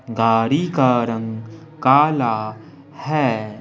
गाड़ी का रंग काला है।